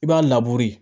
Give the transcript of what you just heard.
I b'a